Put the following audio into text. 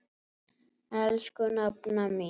Elsku nafna mín.